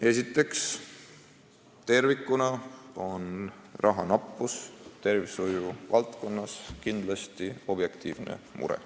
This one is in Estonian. " Esiteks, tervikuna on rahanappus tervishoiu valdkonnas kindlasti objektiivne mure.